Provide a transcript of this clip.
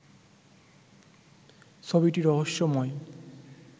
ছবিটি রহস্যময়